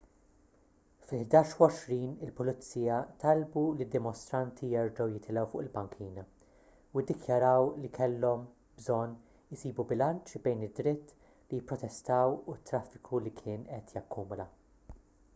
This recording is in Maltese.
fil-11:20 il-pulizija talbu lid-dimostranti jerġgħu jitilgħu fuq il-bankina u ddikjaraw li kellhom bżonn isibu bilanċ bejn id-dritt li jipprotestaw u t-traffiku li kien qed jakkumula